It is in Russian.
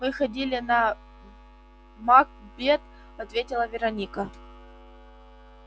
мы ходили на макбет ответила вероника